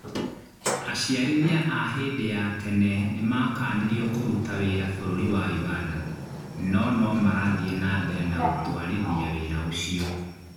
Aciarithia a hĩndĩ ya tene nĩmakanirio kũruta wĩra bũrũri wa Ũganda no nomarathie nambere ya gũtwarithia wĩra ũcio